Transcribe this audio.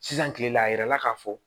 Sisan kile la a yirala ka fɔ